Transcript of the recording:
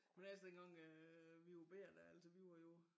Men ellers dengang øh vi var bette altså vi var jo